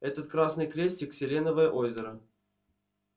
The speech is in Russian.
этот красный крестик селеновое озеро